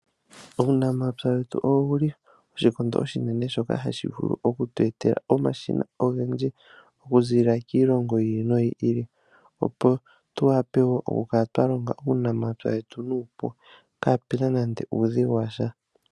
Uunamapya wetu owuli oshikondo oshinene, shoka hashi vulu oku tu etela omashina ogendji oku ziilila kiilongo yi ili noyi ili, opo tu wape woo oku kala twa longa uunamapya wetu nuupu, kaapuna nande uudhigu washa.